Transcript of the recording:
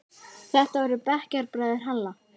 Þetta voru bekkjarbræður Halla.